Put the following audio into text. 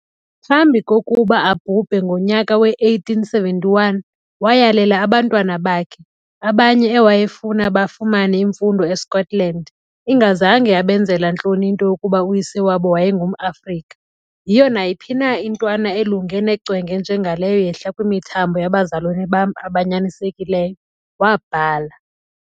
Phambi kokuba abhubhe ngonyaka we-1871, wayalela abantwana bakhe, abanye ewayefuna bafumane imfundo eScotland, ingazange yabenzela ntloni into yokuba uyise wabo wayengum-Afrika. "Yiyo nayiphi na intwana elunge necwenge njengaleyo yehla kwimithambo yabazalwane bam abanyanisekileyo", wabhala.